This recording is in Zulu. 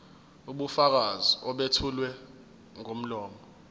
ubufakazi obethulwa ngomlomo